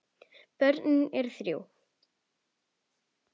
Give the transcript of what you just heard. Börnin eru þrjú.